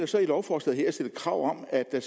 så i lovforslaget her stillet krav om at